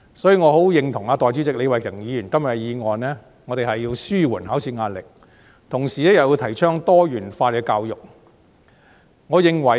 所以，我十分認同代理主席李慧琼議員今天的議案，我們要紓緩考試壓力，同時又要提倡多元教育。